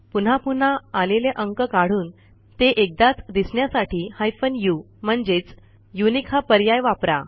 पुन्हा पुन्हा आलेले अंक काढून ते एकदाच दिसण्यासाठी हायफेन उ म्हणजेच युनिक हा पर्याय वापरा